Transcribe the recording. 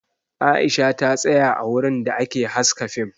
Aisha ta tsaya a wurin da ake haska fim